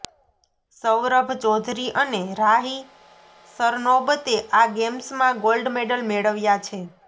સૌરભ ચૌધરી અને રાહી સરનોબતે આ ગેમ્સમાં ગોલ્ડ મેડલ મેળવ્યા છે